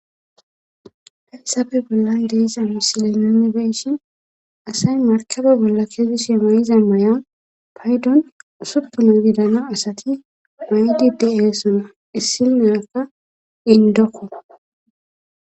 Hayssappe bollan de'izassi misila nuni beyshin asay markabe bolla kezishshe mayizan may'an payddon usupunan gidana asati mayetiiddossona issi nyakka indokko